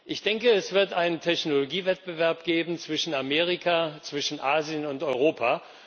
Ich denke, es wird einen Technologiewettbewerb geben zwischen Amerika, Asien und Europa.